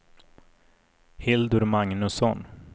Hildur Magnusson